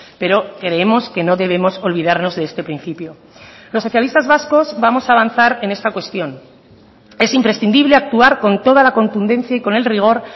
pero creemos que no debemos olvidarnos de este principio los socialistas vascos vamos a avanzar en esta cuestión es imprescindible actuar con toda la contundencia y con el rigor